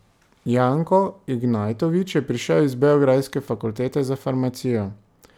Janko Ignajtović je prišel z beograjske Fakultete za farmacijo.